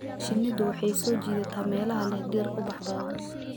Shinnidu waxay soo jiidataa meelaha leh dhir ubax badan.